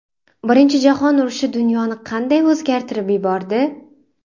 Birinchi jahon urushi dunyoni qanday o‘zgartirib yubordi?